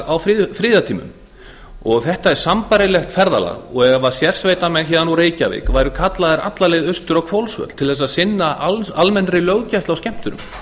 á friðartímum þetta er sambærilegt ferðalag og ef sérsveitarmenn úr reykjavík væru kallaðir alla leið austur á hvolsvöll til þess að sinna almennri löggæslu á skemmtunum